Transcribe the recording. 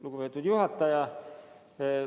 Lugupeetud juhataja!